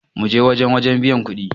mu je wajen wajen biyan kuɗin!